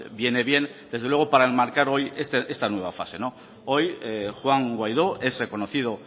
viene bien desde luego para enmarcar hoy esta nueva fase hoy juan guaidó es reconocido